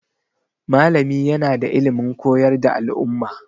Malami yana da ilimin koyar da al'umma.